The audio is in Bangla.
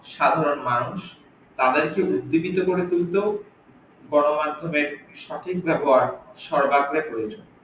সাধারন মানুষ তাদেরকে উদ্বিগত গড়ে তুলতেও গন মাধ্যমের সঠিক ব্যাবহার সর্বাগ্রে প্রয়োজন।